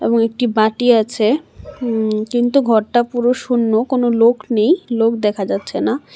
এবং একটি বাটি আছে উম কিন্তু ঘরটা পুরো শূন্য কোনো লোক নেই লোক দেখা যাচ্ছে না।